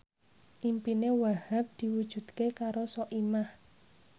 impine Wahhab diwujudke karo Soimah